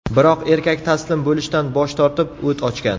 Biroq erkak taslim bo‘lishdan bosh tortib, o‘t ochgan.